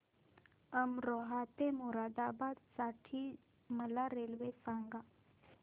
अमरोहा ते मुरादाबाद साठी मला रेल्वे सांगा